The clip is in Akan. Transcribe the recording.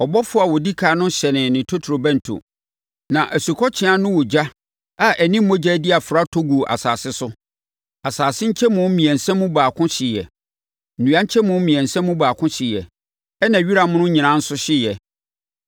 Ɔbɔfoɔ a ɔdi ɛkan no hyɛnee ne totorobɛnto. Na asukɔtweaa ne ogya a ɛne mogya adi afra tɔ guu asase so. Asase nkyɛmu mmiɛnsa mu baako hyeeɛ. Nnua nkyɛmu mmiɛnsa mu baako hyeeɛ, ɛnna wira mono nyinaa nso hyeeɛ.